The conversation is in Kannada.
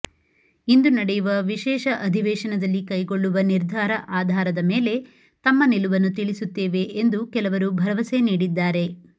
ಇಂದು ನಡೆಯುವ ವಿಶೇಷ ಅಧಿವೇಶನದಲ್ಲಿ ಕೈಗೊಳ್ಳುವ ನಿರ್ಧಾರ ಆಧಾರದ ಮೇಲೆ ತಮ್ಮ ನಿಲುವನ್ನು ತಿಳಿಸುತ್ತೇವೆ ಎಂದು ಕೆಲವರು ಭರವಸೆ ನೀಡಿದ್ದಾರೆ